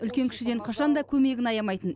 үлкен кішіден қашан да көмегін аямайтын